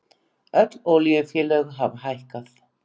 Öll olíufélög hafa hækkað